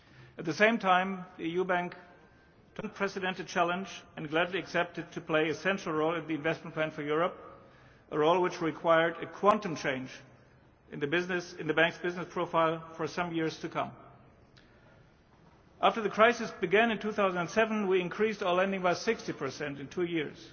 At the same time the EU bank took upon itself an unprecedented challenge and gladly accepted to play a central role in the Investment Plan for Europe, a role which required a quantum change in the business, in the bank's business profile, for some years to come. After the crisis began in 2007, we increased our lending by 60 in two years.